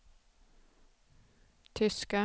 tyska